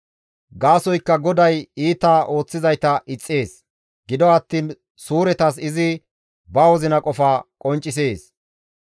Gaasoykka GODAY iita ooththizayta ixxees; gido attiin suuretas izi ba wozina qofa qonccisees.